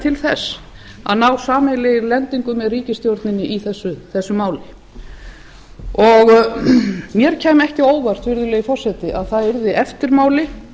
til að ná sameiginlegri lendingu með ríkisstjórninni í þessu fari mér kæmi ekki á óvart virðulegi forseti að það yrði eftirmáli